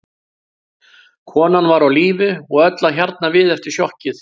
Konan var á lífi og öll að hjarna við eftir sjokkið.